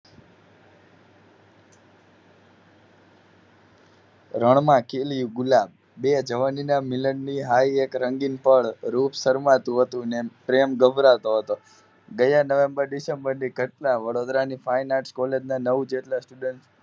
રણમાં ખિલ્યું ગુલાબ બે જવાનીના મિલનની હાય એક રંગીન પળ રુપ શરમાતું હતું અને પ્રેમ ગભરાતો હતો ગયા નવેમ્બર અને ડીસેમ્બરની ધટના વડોદરાની fine arts નવ જેટલા student